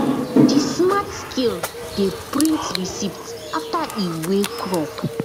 the smart scale dey print receipt after e weigh crop